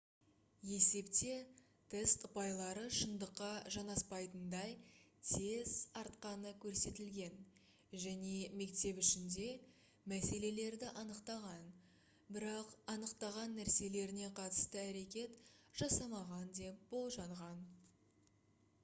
есепте тест ұпайлары шындыққа жанаспайтындай тез артқаны көрсетілген және мектеп ішінде мәселелерді анықтаған бірақ анықтаған нәрселеріне қатысты әрекет жасамаған деп болжанған